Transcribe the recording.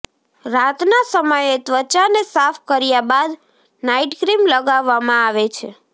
રાતના સમયે ત્વચાને સાફ કર્યા બાદ નાઇટ ક્રીમ લગાવવામાં આવે છે